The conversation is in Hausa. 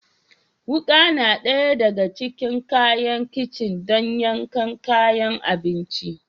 Wuka na ɗaya daga cikin kayan kicin don yankan kayan abinci